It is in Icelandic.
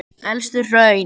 Elstu hraun